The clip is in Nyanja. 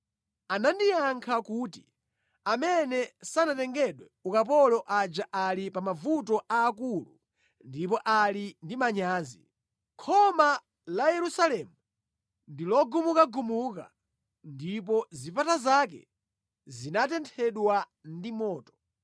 Anandiyankha kuti, “Amene sanatengedwe ukapolo aja ali pa mavuto aakulu ndipo ali ndi manyazi. Khoma la Yerusalemu ndilogamukagamuka ndipo zipata zake zinatenthedwa ndi moto.”